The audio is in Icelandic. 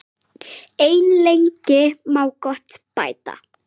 En lengi má gott bæta.